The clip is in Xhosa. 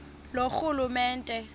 loorhulumente